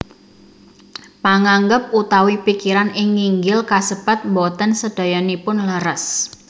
Panganggep utawi pikiran ing nginggil kasebat boten sadayanipun leres